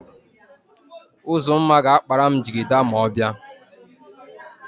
Uzumma ga-akpara m jigida ma ọ bịa.